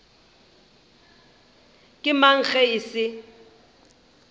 ke mang ge e se